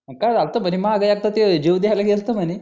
मग काय झालं होतं म्हणे माग एकदा ते मागे जीव द्यायला गेला होता म्हणे